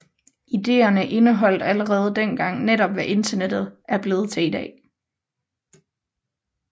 Ideerne indeholdt allerede dengang netop hvad Internettet er blevet til i dag